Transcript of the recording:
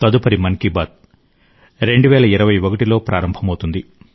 తదుపరి మన్s కీ బాత్ 2021 లో ప్రారంభమవుతుంది